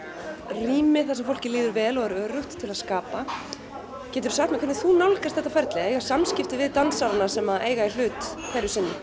rými þar sem fólki líður vel og er öruggt til að skapa geturðu sagt mér hvernig þú nálgast þetta ferli að eiga samskipti við dansarana sem eiga í hlut hverju sinni